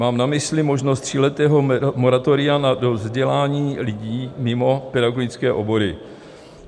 Mám na mysli možnost tříletého moratoria na vzdělání lidí mimo pedagogické obory.